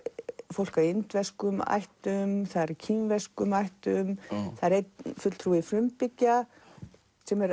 fólk af indverskum ættum kínverskum ættum það er einn fulltrúi frumbyggja sem er